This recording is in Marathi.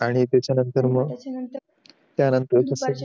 आणि त्याच्या नंतर मग त्यांच्या नंतर